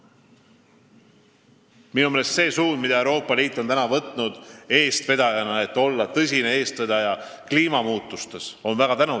Minu meelest on väga tänuväärt see suund, mille Euroopa Liit on võtnud, et olla tõsine eestvedaja kliimamuutuste takistamisel.